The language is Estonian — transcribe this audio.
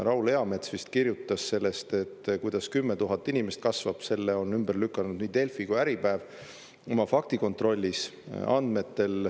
Raul Eamets vist kirjutas sellest, kuidas 10 000 inimest kasvab, selle on ümber lükanud nii Delfi kui Äripäev oma faktikontrollis.